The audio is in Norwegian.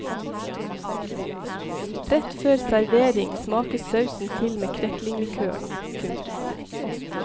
Rett før servering smakes sausen til med kreklinglikøren. punktum